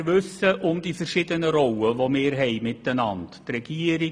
Wir wissen um die verschiedenen Rollen, die wir un tereinander haben;